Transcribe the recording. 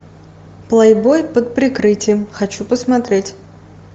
плейбой под прикрытием хочу посмотреть